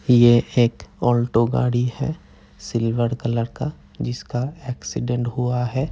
ये एक ऑल्टो गाड़ी है सिल्वर कलर का जिसका एक्सीडेंट हुआ है।